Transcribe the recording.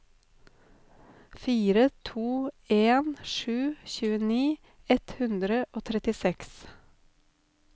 fire to en sju tjueni ett hundre og trettiseks